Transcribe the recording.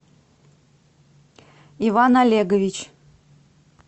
иван олегович